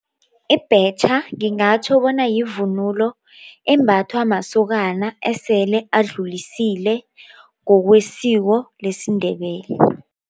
Ibhetjha ngingatjho bona yivunulo embathwa masokana esele adlulisile ngokwesiko lesiNdebele.